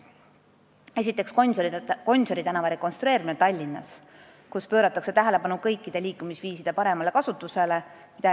Esiteks, Gonsiori tänava rekonstrueerimine Tallinnas, kus pööratakse tähelepanu kõikide liikumisviiside paremale kasutusele.